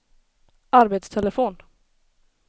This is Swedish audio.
arbetstelefon